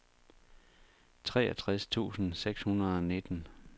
treogtres tusind seks hundrede og nitten